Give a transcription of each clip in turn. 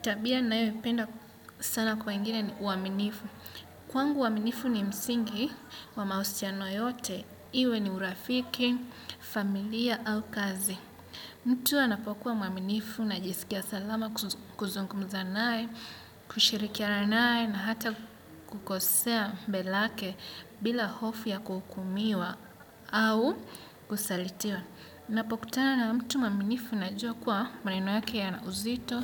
Tabia ninayoipenda sana kwa wengine ni uaminifu. Kwangu uaminifu ni msingi wa mahusiano yote, iwe ni urafiki, familia au kazi. Mtu anapokuwa mwaminifu najisikia salama kuzungumza naye, kushirikia naye na hata kukosea mbeleake bila hofu ya kuhumiwa au kusalitiwa. Napokutana na mtu mwaminifu najua kuwa maneno yake yana uzito,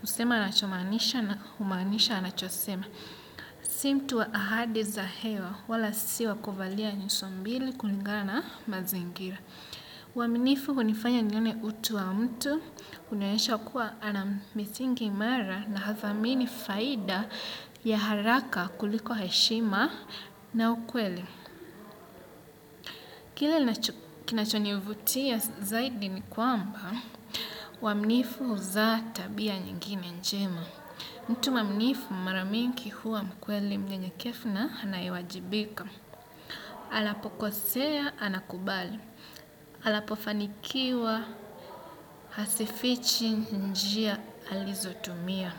husema anachomaanisha na humaanisha anachosema. Si mtu wa ahadi za hewa wala si wa kuvalia nyuso mbili kulingana na mazingira. Uaminifu hunifanya nione utu wa mtu, hunionyesha kuwa ana misingi imara na hadhamini faida ya haraka kuliko heshima na ukweli. Kile kinachonivutia zaidi ni kwamba, uaminifu huzaa tabia nyingine njema. Mtu mwaminifu mara mingi huwa mkweli mnyenyekevu na anayewajibika. Anapokosea anakubali. Anapofanikiwa hazifichi njia alizotumia.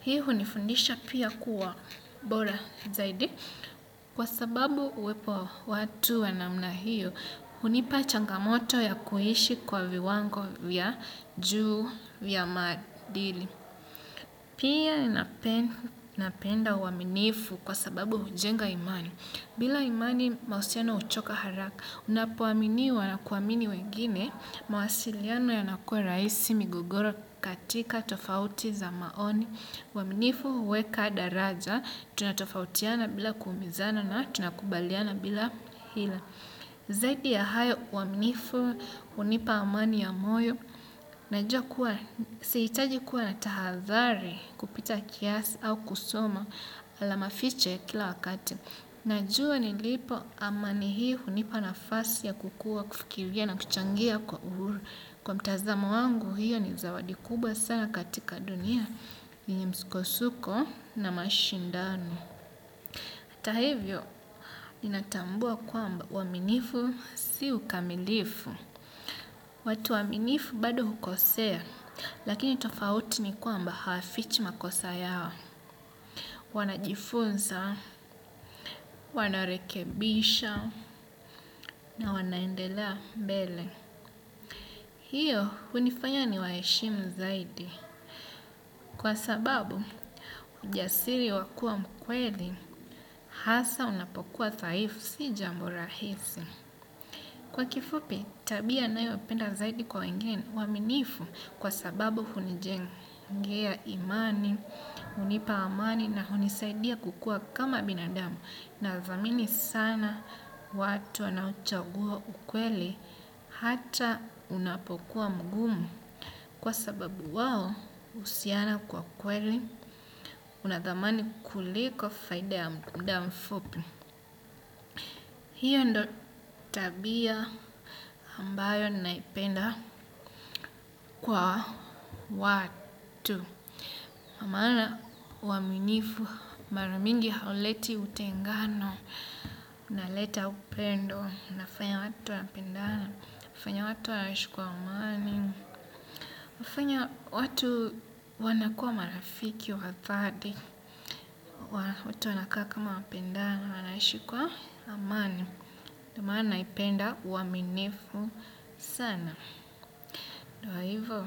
Hii hunifundisha pia kuwa bora zaidi. Kwa sababu uwepo wa watu wa namna hiyo, hunipa changamoto ya kuishi kwa viwango vya juu vya maadili. Pia napenda uaminifu kwa sababu hujenga imani. Bila imani mahusiano huchoka haraka, unapoaminiwa na kuamini wengine mawasiliano yanakua rahisi migogoro katika tofauti za maoni. Uaminifu huweka daraja, tunatofautiana bila kuumizana na tunakubaliana bila hila. Zaidi ya hayo, uaminifu, hunipa amani ya moyo. Najua kuwa, sihitaji kuwa na tahadhari kupita kiasi au kusoma alama fiche kila wakati. Najua nilipo amani hii hunipa nafasi ya kukua kufikiria na kuchangia kwa uhuru. Kwa mtazamo wangu hiyo ni zawadi kubwa sana katika dunia. Ni msukosuko na mashindano. Hata hivyo, ninatambua kwamba uaminifu si ukamilifu. Watu waaminifu bado hukosea, lakini tofauti ni kwamba hafichi makosa yao. Wanajifunza, wanarekebisha, na wanaendelea mbele. Hiyo, hunifanya niwaheshimu zaidi. Kwa sababu, ujasiri wa kuwa mkweli hasa unapokuwa dhaifu si jambo rahisi. Kwa kifupi, tabia nayopenda zaidi kwa wengine uaminifu kwa sababu hunijenga. Ngia imani, hunipa amani na hunisaidia kukua kama binadamu. Nathamini sana watu wanaochagua ukweli hata unapokuwa mgumu. Kwa sababu wao uhusiana kwa kweli, unathamani kuliko faida ya muda mfupi. Hiyo ndo tabia ambayo naipenda kwa watu. Maana uaminifu mara mingi hauleti utengano, unaleta upendo, unafanya watu wapendane, unafanya watu waishi kwa amani. Hufanya watu wanakua marafiki wa dhati, watu wanakaa kama wapendana, wanaishi kwa amani. Ndio maana naipenda uaminifu sana. Ndio hivo.